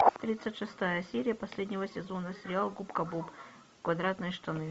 тридцать шестая серия последнего сезона сериал губка боб квадратные штаны